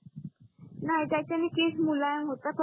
नाही त्याच्याणी केस मुलायम होत फक्त